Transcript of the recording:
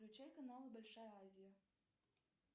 включай канал большая азия